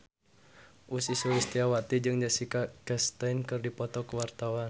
Ussy Sulistyawati jeung Jessica Chastain keur dipoto ku wartawan